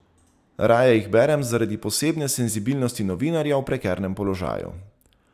Raje jih berem zaradi posebne senzibilnosti novinarja v prekernem položaju.